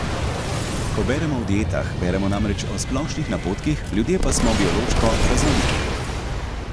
Ko beremo o dietah, beremo namreč o splošnih napotkih, ljudje pa smo biološko raznoliki.